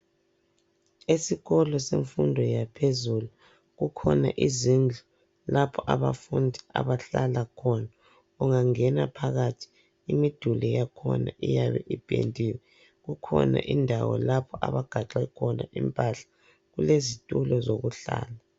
Esikolo semfundo yaphezulu kukhona izindlu lapho abafundi abahlala khona. Ungangena phakathi, imiduli yakhona iyabe ipendiwe. Kukhona indawo lapho abagaxe khona impahla. Kulezitulo zokuhlala.